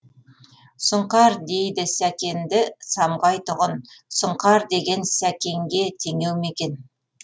сұңқар дейді сәкенді самғайтұғұн сұңқар деген сәкенге теңеу ме екен